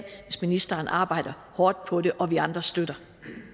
hvis ministeren arbejder hårdt på det og vi andre støtter